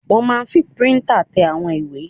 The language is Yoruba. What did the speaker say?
Wọ́n máa n fi píríntà tẹ àwọn ìwé